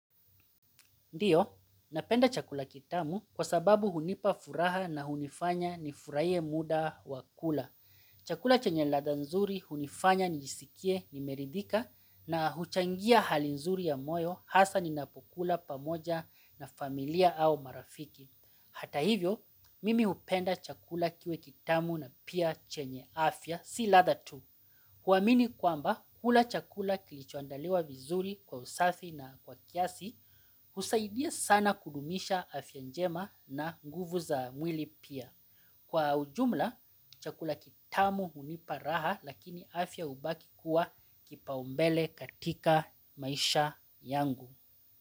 Ndiyo, napenda chakula kitamu kwa sababu hunipa furaha na hunifanya nifurahie muda wa kula. Chakula chenye ladha nzuri hunifanya nijiskie nimeridhika na huchangia hali nzuri ya moyo hasa ninapokula pamoja na familia au marafiki. Hata hivyo, mimi hupenda chakula kiwe kitamu na pia chenye afya si ladha tu. Huamini kwamba kula chakula kilichoandaliwa vizuri kwa usafi na kwa kiasi husaidia sana kudumisha afya njema na nguvu za mwili pia. Kwa ujumla, chakula kitamu hunipa raha lakini afya ubaki kuwa kipaumbele katika maisha yangu.